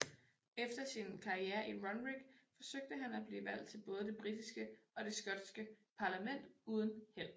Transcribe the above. Efter sin karriere i Runrig forsøgte han at blive valgt til både det britiske og det skotske parlament uden held